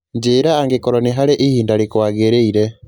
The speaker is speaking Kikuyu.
Njĩĩra angĩkorũo nĩ harĩ ihinda rĩkuagĩrĩire